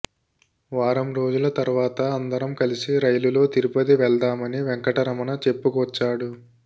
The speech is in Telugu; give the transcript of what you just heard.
వారం రోజుల తర్వాత అందరం కలిసి రైలులో తిరుపతి వెళ్దామని వెంకటరమణ చెప్పుకొచ్చాడు